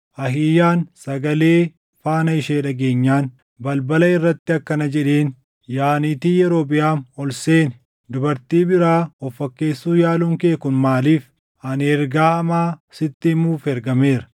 Ahiiyaan sagalee faana ishee dhageenyaan balbala irratti akkana jedheen; “Yaa niitii Yerobiʼaam ol seeni. Dubartii biraa of fakkeessuu yaaluun kee kun maaliif? Ani ergaa hamaa sitti himuuf ergameera.